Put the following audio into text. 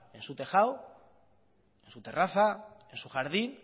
en su tejado en su terraza en su jardín